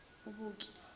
ubuki